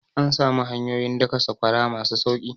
An samu hanyoyin daka sakwara masu sauki